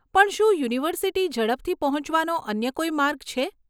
પણ શું યુનિવર્સીટી ઝડપથી પહોંચવાનો અન્ય કોઈ માર્ગ છે?